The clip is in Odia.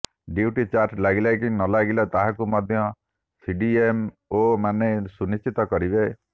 ଡ୍ୟୁଟି ଚାର୍ଟ ଲାଗିଲା କି ନ ଲାଗିଲା ତାହାକୁ ମଧ୍ୟ ସିଡିଏମଓମାନେ ସୁନିଶ୍ଚିତ କରିବେ